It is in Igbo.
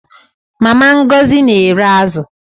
Mama Ngozi n'ere azu